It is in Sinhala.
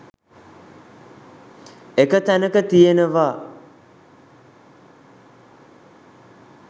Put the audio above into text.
එක තැනක තියෙනවා